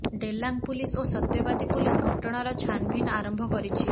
Delang police ଓ Satyabadi police ଘଟଣାର ଛାନଭିନ ଆରମ୍ଭ କରିଛି